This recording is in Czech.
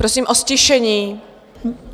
Prosím o ztišení.